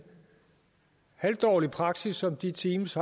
halvdårlig praksis som de team